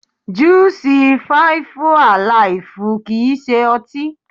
Júù sì fíífú àlìfù kìí ṣe ọtí.